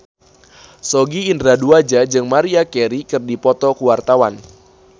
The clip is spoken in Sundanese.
Sogi Indra Duaja jeung Maria Carey keur dipoto ku wartawan